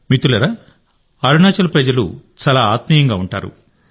మిత్రులారాఅరుణాచల్ ప్రజలు చాలా ఆత్మీయంగా ఉంటారు